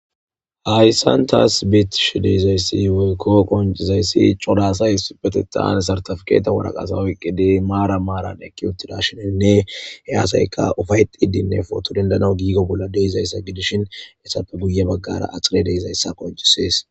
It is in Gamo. hayssan taas beetish deezayssi weykko koncizayssi codasays petetan sartafkeeta waraqasa oyqqidi maara maaran ekki uttida shininne he asayka ufay iddinne footo dendana giigo bolla deezayssa gidishin essappe buye baggara axire deezayssa qonjisees